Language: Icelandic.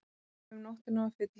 Um nóttina var fyllerí.